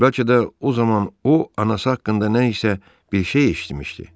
Bəlkə də o zaman o anası haqqında nə isə bir şey eşitmişdi.